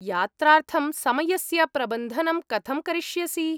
यात्रार्थं समयस्य प्रबन्धनं कथं करिष्यसि?